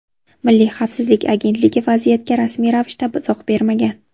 Milliy xavfsizlik agentligi vaziyatga rasmiy ravishda izoh bermagan.